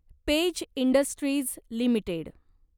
page Industries limited